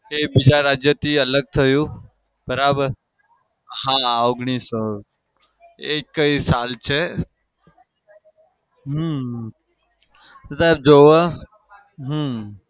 તે બીજા રાજ્યથી અલગ થયું. બરાબર? હા ઓગણીસો એ કઈ સાલ છે. હમ બધા જોવા હમ